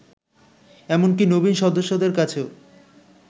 এমনকি নবীন সদস্যদের কাছেও